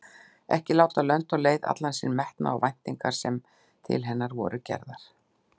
Ekki látið lönd og leið allan sinn metnað og væntingar sem til hennar voru gerðar.